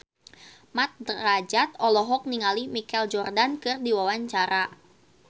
Mat Drajat olohok ningali Michael Jordan keur diwawancara